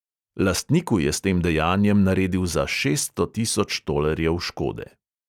Lastniku je s tem dejanjem naredil za šeststo tisoč tolarjev škode.